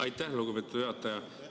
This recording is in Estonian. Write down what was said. Aitäh, lugupeetud juhataja!